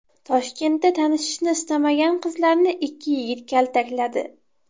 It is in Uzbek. Toshkentda tanishishni istamagan qizlarni ikki yigit kaltakladi.